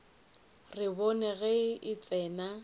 re bone ge re tsena